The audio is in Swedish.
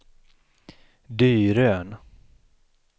Dyrön